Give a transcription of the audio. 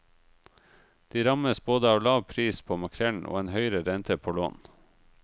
De rammes både av lav pris på makrellen og en høyere rente på lån.